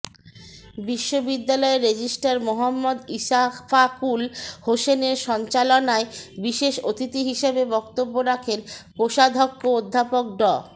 বিশ্ববিদ্যালয়ের রেজিস্ট্রার মোহাম্মদ ইশফাকুল হোসেনের সঞ্চালনায় বিশেষ অতিথি হিসেবে বক্তব্য রাখেন কোষাধ্যক্ষ অধ্যাপক ড